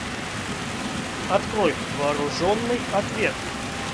открой вооруженный ответ